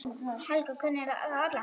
Helga kunni þá alla.